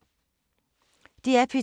DR P2